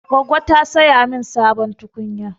Goggo ta saya min sabon tukunya.